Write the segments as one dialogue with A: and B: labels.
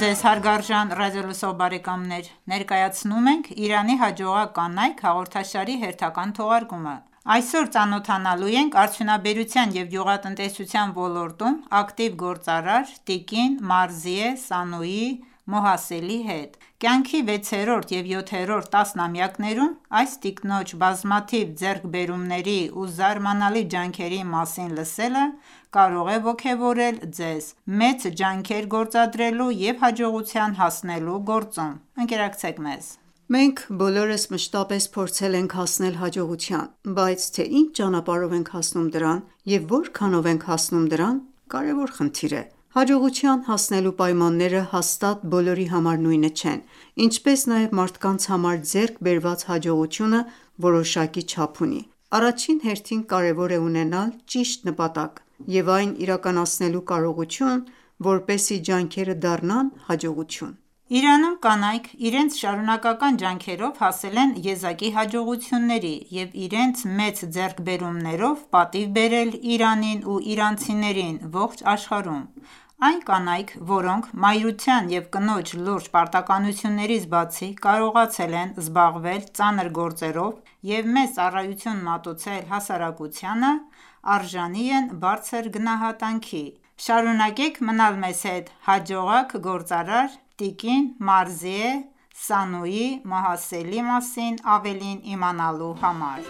A: ձեզ հարգարժան ռադիոլսող բարեկամներ: Ներկայացնում ենք «Իրանի հաջողակ կանայք» հաղորդաշարի հերթական թողարկումը: Այսօր ծանոթանալու ենք արդյունաբերության և գյուղատնտեսության ոլորտում ակտիվ գործարար՝ տիկին Մարզիե Սանույի Մոհասելի հետ: Կյանքի վեցերորդ և յոթերորդ տասնամյակներում, այս տիկնոջ բազմաթիվ ձեռքբերումների ու զարմանալի ջանքերի մասին լսելը կարող է ոգևորել ձեզ մեծ ջանքեր գործադրելու և հաջողության հասնելու գործում: Ընկերակցեք մեզ:
B: Մենք բոլորս մշտապես փորձել ենք հասնել հաջողության, բայց թե ինչ ճանապարհով ենք հասնում դրան և որքանով ենք հասնում դրան, կարևոր խնդիր է։ Հաջողության հասնելու պայմանները հաստատ բոլորի համար նույնը չեն, ինչպես նաև մարդկանց համար ձեռք բերված հաջողությունը որոշակի չափ չունի։ Առաջին հերթին կարևոր է ունենալ ճիշտ նպատակ և այն իրականացնելու կարողություն, որպեսզի ջանքերը դառնան հաջողություն։
A: Իրանում կանայք իրենց շարունակական ջանքերով հասել են եզակի հաջողությունների և իրենց մեծ ձեռքբերումներով պատիվ բերել Իրանին ու իրանցիներին ողջ աշխարհում։ Այն կանայք, որոնք մայրության և կնոջ լուրջ պարտականություններից բացի կարողացել են զբաղվել ծանր գործերով և մեծ ծառայություն մատուցել հասարակությանը, արժանի են բարձր գնահատանքի։ Շարունակեք մնալ մեզ հետ՝ հաջողակ գործարար՝ տիկին Մարզիե Սանուի Մոհասելի մասին ավելին իմանալու համար: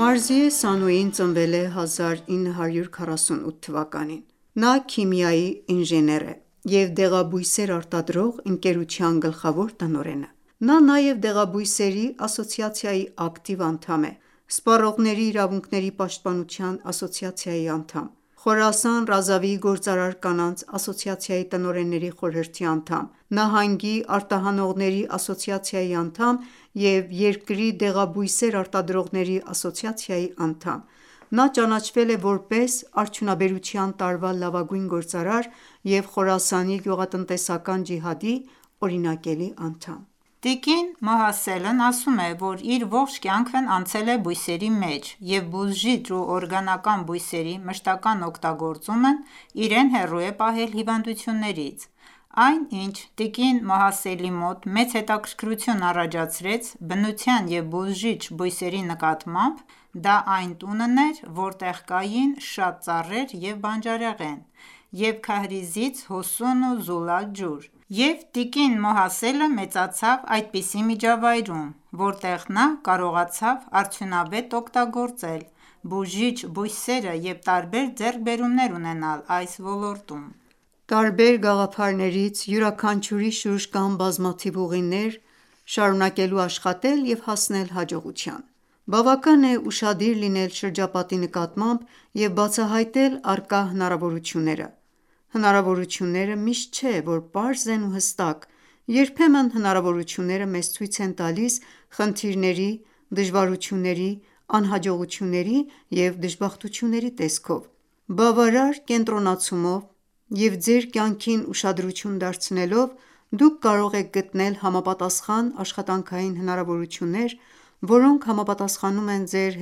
B: Մարզիե Սանուի Մոհասելը Մարզիե Սանույին ծնվել է1948 թ. (իրանական 1327 թ.): Նա քիմիական ինժեներ է և դեղաբույսեր արտադրող ընկերության գլխավոր տնօրենը: Նա նաև Դեղաբույսերի ասոցիացիայի ակտիվ անդամ է, Սպառողների իրավունքների պաշտպանության ասոցիացիայի անդամ, Խորասան Ռազավիի գործարար կանանց ասոցիացիայի տնօրենների խորհրդի անդամ, նահանգի արտահանողների ասոցիացիայի անդամ, և երկրի դեղաբույսեր արտադրողների ասոցիացիայի անդամ:Նա ճանաչվել է որպես արդյունաբերության տարվա լավագույն գործարար և Խորասանի գյուղատնտեսական ջիհադի օրինակելի անդամ:
A: Տիկին Մոհասելն ասում է, որ իր ողջ կյանքն անցել է բույսերի մեջ, և բուժիչ ու օրգանական բույսերի մշտական ​​օգտագործումն իրեն հեռու է պահել հիվանդություններից։ Այն, ինչ տիկին Մոհասելի մոտ մեծ հետաքրքրություն առաջացրեց բնության և բուժիչ բույսերի նկատմամբ, դա այն տունն էր, որտեղ կային շատ ծառեր և բանջարեղեն, և քահրիզից հոսուն ու զուլալ ջուր, և տիկին Մոհասելը մեծացավ այդպիսի միջավայրում, որտեղ նա կարողացավ արդյունավետ օգտագործել բուժիչ բույսերը և տարբեր ձեռքբերումներ ունենալ այս ոլորտում:
B: Տարբեր գաղափարներից յուրաքանչյուրի շուրջ կան բազմաթիվ ուղիներ՝ շարունակելու աշխատել և հասնել հաջողության: Բավական է ուշադիր լինել շրջապատի նկատմամբ և բացահայտել առկա հնարավորությունները։ Հնարավորությունները միշտ չէ, որ պարզ են ու հստակ, երբեմն հնարավորությունները մեզ ցույց են տալիս խնդիրների, դժվարությունների, անհաջողությունների և դժբախտությունների տեսքով: Բավարար կենտրոնացումով և ձեր կյանքին ուշադրություն դարձնելով, դուք կարող եք գտնել համապատասխան աշխատանքային հնարավորություններ, որոնք համապատասխանում են ձեր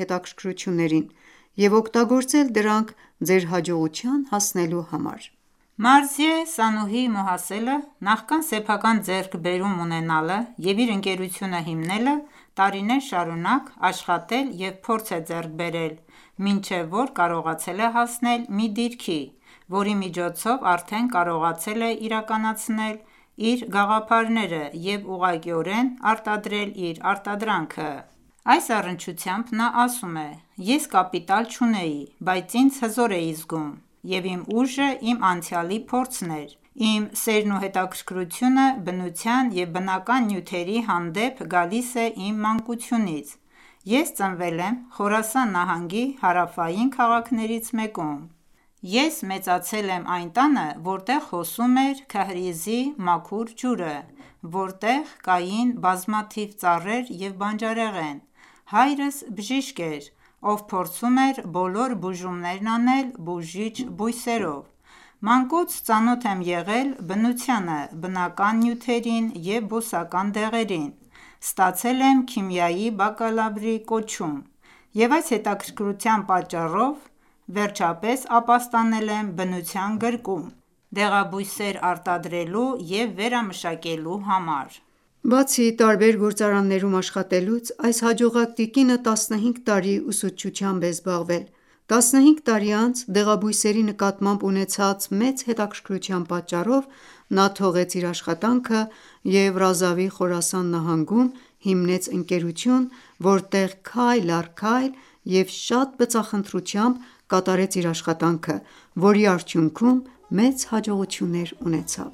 B: հետաքրքրություններին և օգտագործել դրանք ձեր հաջողության հասնելու համար:
A: Մարզիե Սանուհի Մոհասելը, նախքան սեփական ձեռքբերում ունենալը և իր ընկերությունը հիմնելը, տարիներ շարունակ աշխատել և փորձ է ձեռք բերել, մինչև որ կարողացել է հասնել մի դիրքի, որի միջոցով արդեն կարողացել է իրականացնել իր գաղափարները և ուղղակիորեն արտադրել իր արտադրանքը: Այս առնչությամբ նա ասում է. «Ես կապիտալ չունեի, բայց ինձ հզոր էի զգում, և իմ ուժը իմ անցյալի փորձն էր: Իմ սերն ու հետաքրքրությունը բնության և բնական նյութերի հանդեպ գալիս է իմ մանկությունից: Ես ծնվել եմ Խորասան նահանգի հարավային քաղաքներից մեկում: Ես մեծացել եմ այն տանը, որտեղ հոսում էր քահրիզի մաքուր ջուրը, որտեղ կային բազմաթիվ ծառեր և բանջարեղեն: Հայրս բժիշկ էր, ով փորձում էր բոլոր բուժումներն անել բուժիչ բույսերով: Մանկուց ծանոթ եմ եղել բնությանը, բնական նյութերին և բուսական դեղերին, ստացել եմ քիմիայի բակալավրի կոչում և այս հետաքրքրության պատճառով վերջապես ապաստանել եմ բնության գրկում՝դեղաբույսեր արտադրելու և վերամշակելու համար»։
B: Բացի տարբեր գործարաններում աշխատելուց, այս հաջողակ տիկինը 15 տարի ուսուցչությամբ է զբաղվել։ 15 տարի անց, դեղաբույսերի նկատմամբ ունեցած մեծ հետաքրքրության պատճառով, նա թողեց իր աշխատանքը և Ռազավի Խորասան նահանգում հիմնեց ընկերություն, որտեղ քայլ առ քայլ և շատ բծախնդրությամբ կատարեց իր աշխատանքը, որի արդյունքում մեծ հաջողություններ ունեցավ: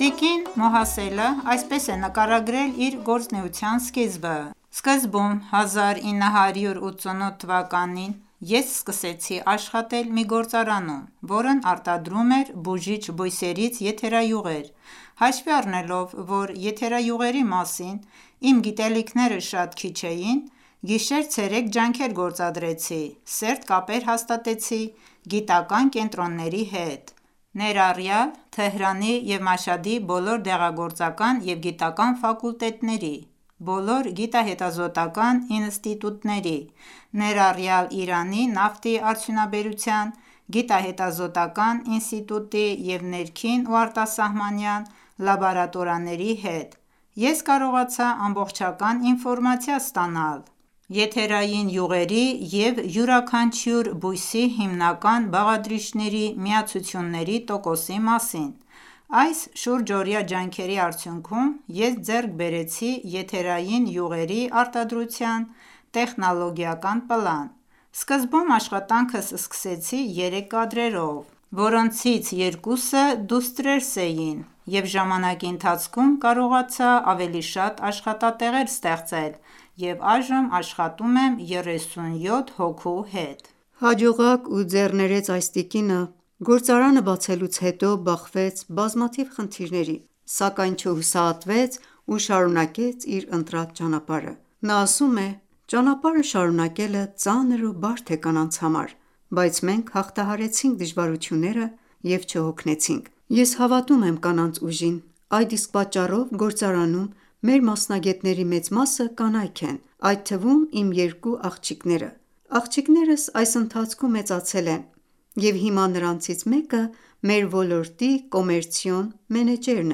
A: Տիկին Մոհասելը այսպես է նկարագրել իր գործունեության սկիզբը. «Սկզբում 1367 թվականին (1988 թ.) ես սկսեցի աշխատել մի գործարանում, որն արտադրում էր բուժիչ բույսերից եթերայուղեր, հաշվի առնելով, որ եթերայուղերի մասին իմ գիտելիքները շատ քիչ էին, գիշեր-ցերեկ ջանքեր գործադրեցի, սերտ կապեր հաստատեցի գիտական ​​կենտրոնների հետ, ներառյալ Թեհրանի և Մաշհադի բոլոր դեղագործական և գիտական ​​ֆակուլտետների, բոլոր գիտահետազոտական ​​ինստիտուտների, ներառյալ Իրանի նավթի արդյունաբերության գիտահետազոտական ​​ինստիտուտի և ներքին ու արտասահմանյան լաբորատորիաների հետ, ես կարողացա ամբողջական ինֆորմացիա ստանալ եթերային յուղերի,և յուրաքանչյուր բույսի հիմնական բաղադրիչների միացությունների տոկոսի մասին: Այս շուրջօրյա ջանքերի արդյուքնում ես ձեռք բերեցի եթերային յուղերի արտադրության տեխնոլոգիական պլան։ Սկզբում աշխատանքս սկսեցի 3 կադրերով, որոնցից երկուսը դուստրերս էին, և ժամանակի ընթացքում կարողացա ավելի շատ աշխատատեղեր ստեղծել և այժմ աշխատում եմ 37 հոգու հետ»։
B: Հաջողակ ու ձեռներեց այս տիկինը գործարանը բացելուց հետո բախվեց բազմաթիվ խնդիրների, սակայն չհուսահատվեց ու շարունակեց իր ընտրած ճանապարհը: Նա ասում է.-««Ճանապարհը շարունակելը ծանր ու բարդ է կանանց համար։ Բայց մենք հաղթահարեցինք դժվարությունները և չհոգնեցինք։ Ես հավատում եմ կանանց ուժին: Այդ իսկ պատճառով գործարանում մեր մասնագետների մեծ մասը կանայք են, այդ թվում՝ իմ 2 աղջիկները։ Աղջիկներս այս ընթացքում մեծացել են, և հիմա նրանցից մեկը մեր ոլորտի կոմերցիոն մենեջերն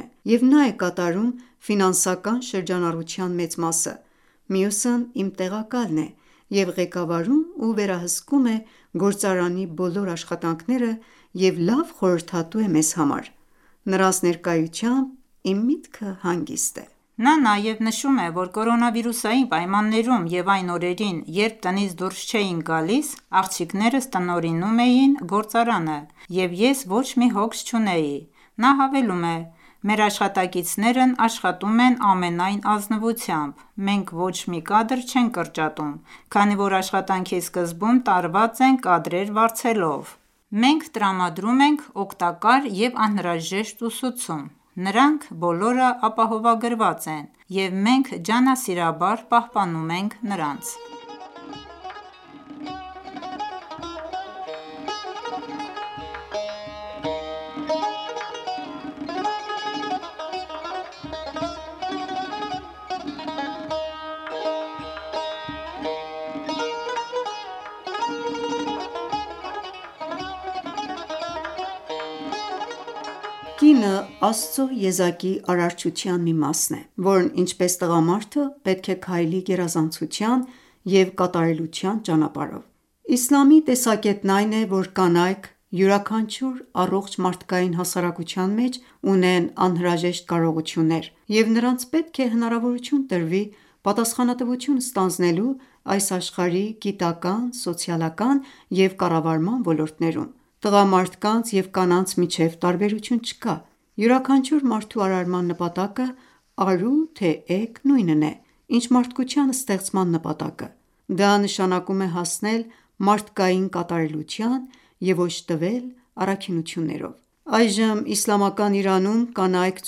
B: է, և նա է կատարում ֆինանսական շրջանառության մեծ մասը։ Մյուսն իմ տեղակալն է և ղեկավարում ու վերահսկում է գործարանի բոլոր աշխատանքները և լավ խորհրդատու է մեզ համար։ Նրանց ներկայությամբ, իմ միտքը
A: հանգիստ է»: Նա նաև նշում է, որ Կորոնավիրուսային պայմաններում և այն օրերին, երբ տնից դուրս չէինք գալիս, աղջիկներս տնօրինում էին գործարանը, և ես ոչ մի հոգս չունեի: Նա հավելում է.-«Մեր աշխատակիցներն աշխատում են ամենայն ազնվությամբ։ Մենք ոչ մի կադր չենք կրճատում, քանի որ աշխատանքի սկզբում տարված ենք կադրեր վարձելով: Մենք տրամադրում ենք օգտակար և անհրաժեշտ ուսուցում։ Նրանք բոլորը ապահովագրված են, և մենք ջանասիրաբար պահպանում ենք նրանց»։
B: Տիկին Մոհասելն իր գործարանում իր դուստրերի և գործընկերների հետ Կինը Աստծո եզակի արարչության մի մասն է, որն ինչպես տղամարդը, պետք է քայլի գերազանցության և կատարելության ճանապարհով: Իսլամի տեսակետն այն է, որ կանայք յուրաքանչյուր առողջ մարդկային հասարակության մեջ ունեն անհրաժեշտ կարողություններ, և նրանց պետք է հնարավորություն տրվի պատասխանատվություն ստանձնելու այս աշխարհի գիտական, սոցիալական, և կառավարման ոլորտներում: Տղամարդկանց և կանանց միջև տարբերություն չկա: Յուրաքանչյուր մարդու արարման նպատակը՝ արու թե էգ, նույնն է, ինչ մարդկության ստեղծման նպատակը։ Դա նշանակում է հասնել մարդկային կատարելության և օժտվել առաքինություններով: Այժմ Իսլամական Իրանում կանայք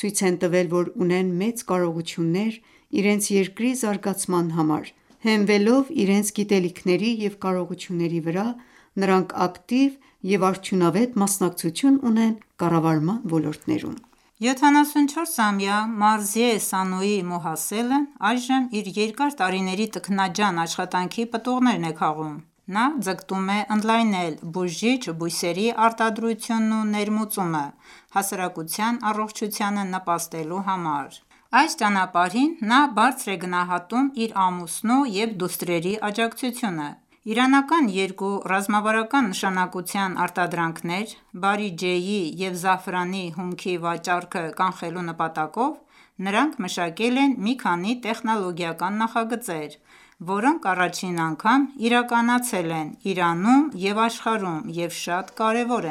B: ցույց են տվել, որ ունեն մեծ կարողություններ իրենց երկրի զարգացման համար։ Հենվելով իրենց գիտելիքների և կարողությունների վրա՝ նրանք ակտիվ և արդյունավետ մասնակցություն ունեն կառավարման ոլորտներում։
A: 74-ամյա Մարզիե Սանուի Մոհասելն այժմ իր երկար տարիների տքնաջան աշխատանքի պտուղներն է քաղում: Նա ձգտում է ընդլայնել բուժիչ բույսերի արտադրությունն ու ներմուծումը հասարակության առողջությանը նպաստելու համար: Այս ճանապարհին նա բարձր է գնահատում իր ամուսնու և դուստրերի աջակցությունը։ Իրանական երկու ռազմավարական նշանակության արտադրանքներ՝ բարիջեի և զաֆրանի հումքի վաճառքը կանխելու նպատակով նրանք մշակել են մի քանի տեխնոլոգիական նախագծեր, որոնք առաջին անգամ իրականացել են Իրանում և աշխարհում և շատ կարևոր